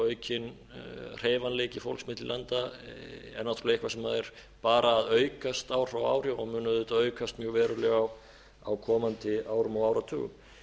aukin hreyfanleiki fólks milli landa er náttúrlega eitthvað sem er bara að aukast ár frá ári og mun auðvitað aukast mjög verulega á komandi árum og áratugum